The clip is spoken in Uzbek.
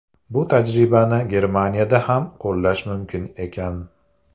Bu tajribani Germaniyada ham qo‘llash mumkin ekan.